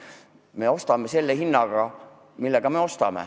Me ostame selle hinnaga, millega me ostame.